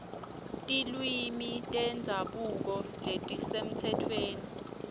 tilwimi tendzabuko letisemtsetfweni